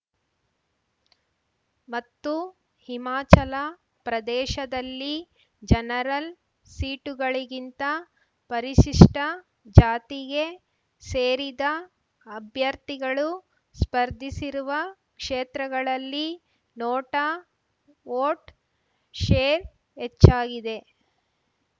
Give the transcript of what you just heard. ಮತ್ತು ಹಿಮಾಚಲ ಪ್ರದೇಶದಲ್ಲಿ ಜನರಲ್‌ ಸೀಟುಗಳಿಗಿಂತ ಪರಿಶಿಷ್ಟಜಾತಿಗೆ ಸೇರಿದ ಅಭ್ಯರ್ಥಿಗಳು ಸ್ಪರ್ಧಿಸಿರುವ ಕ್ಷೇತ್ರಗಳಲ್ಲಿ ನೋಟಾ ವೋಟ್‌ ಶೇರ್‌ ಹೆಚ್ಚಾಗಿದೆ